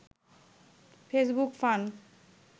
Facebook fun